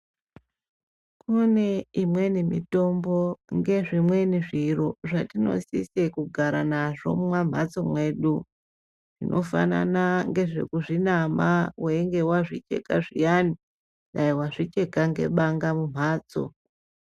Kune imweni mitombo ngezvimweni zviro zvatinosise kugara nazvo mumwamhatso mwedu. Zvinofanana ngezvekuzvinama weinge wazvicheka zviyani. Dai wazvicheka nebanga mumhatso.